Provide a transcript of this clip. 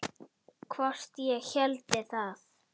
Hvort ég héldi það?